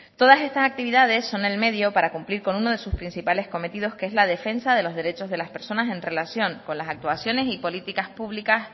todas estas actividades son el medio para cumplir con uno de sus principales cometidos que es la defensa de los derechos de las personas en relación con las actuaciones y políticas públicas